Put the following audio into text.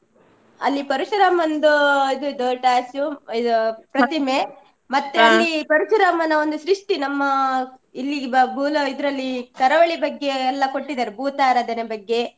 ಅಲ್ಲಿ ಪರಶುರಮಂದು ಇದು ದೊಡ್ಡ ಇದು ಪ್ರತಿಮೆ ಪರಶುರಾಮನ ಒಂದು ಸೃಷ್ಟಿ ನಮ್ಮ ಇಲ್ಲಿ ಬ~ ಬೂಲ ಇದ್ರಲ್ಲಿ ಕರಾವಳಿ ಬಗ್ಗೆಯೆಲ್ಲಾ ಕೊಟ್ಟಿದ್ದಾರೆ, ಬೂತಾರಾಧನೆ ಬಗ್ಗೆ.